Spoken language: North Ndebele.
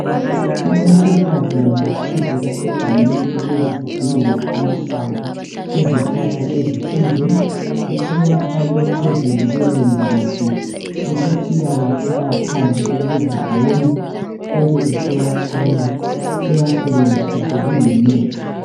owesifazana ovela egangeni ukuyazidingela amahlamvu ezihlahla ezi thize usewafake phezulu kwelembu lakhe usesiyawa caya phandle ukuze awome ebesesiyacola ewasebenzise esengumuthi